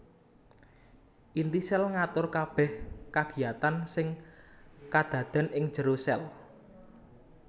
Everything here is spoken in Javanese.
Inti sèl ngatur kabèh kagiyatan sing kadadèn ing jero sèl